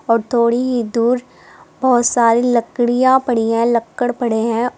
और थोड़ी ही दूर बहोत सारी लड़कियां पड़ी है लक्कड़ पड़े हैं।